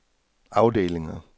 afdelinger